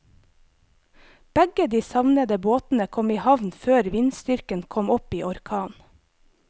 Begge de savnede båtene kom i havn før vindstyrken kom opp i orkan.